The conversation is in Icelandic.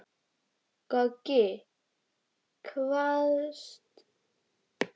Goggi kvaðst eiga kappnóg af seðlum.